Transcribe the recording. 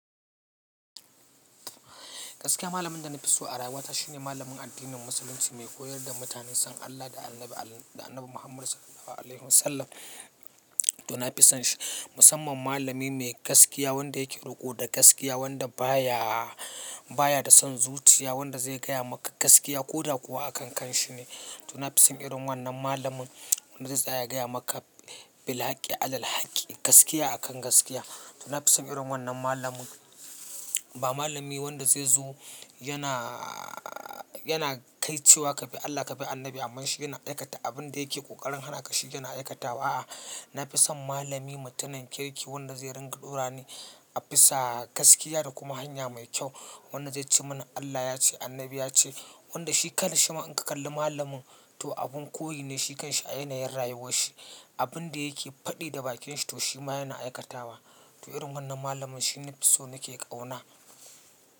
Gaskiya malamin da na fi so a rayuwata shine malamin addinin musulunci mai koyar da mutane son Allah da annabi Muhammad SAW. To na fi son shi musamman malami mai gaskiya wanda yake roƙo da gaskiya wanda ba ya, ba ya da son zuciya wanda zai gaya maka gaskiya ko da kuwa a kan kanshi ne. To na fi son irin wannan malamin wanda za su iya gaya maka bil haqi alal haqi gaskiya akan gaskiya. To na fi son irin wannan malamin ba malami wanda zai zo yana, yana kai cewa ka bi Allah ka bi annabi amma shi yana aikata abin da yake ƙoƙarin hana ka shi yana aikatawa a'a. Na fi son malami mutumin kirki wanda zai ringa ɗora ni a bisa gaskiya da kuma hanya mai kyau. Wanda zai ci mana Allah yace annabi ya ce wanda shi kalar shi ma in ka kalli malamin to abun koyi ne shi kanshi a yanayin rayuwar shi. Abin da yake faɗi da bakin shi to shi ma yana aikatawa. To irin wannan malamin shine na fi so na ke kauna.